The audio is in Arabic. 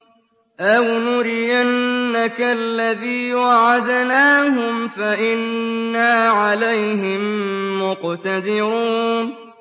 أَوْ نُرِيَنَّكَ الَّذِي وَعَدْنَاهُمْ فَإِنَّا عَلَيْهِم مُّقْتَدِرُونَ